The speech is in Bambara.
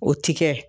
O ti kɛ